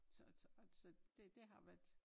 Så altså og så det det har været